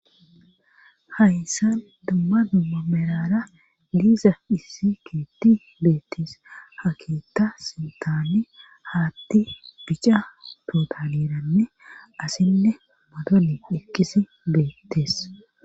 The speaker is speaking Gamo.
hayssa dumma dumma merara diiza issi keetti beettees ha keetta sintani haatti bica tootaliranne asinne modoli eqidi beettees